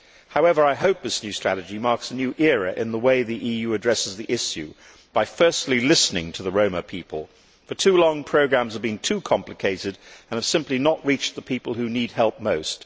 However, I hope that this new strategy marks a new era in the way the EU addresses the issue by firstly listening to the Roma people. For too long programmes have been too complicated and have simply not reached the people who need help most.